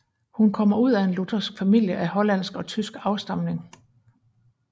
Hun kommer ud af en luthersk familie af hollandsk og tysk afstamning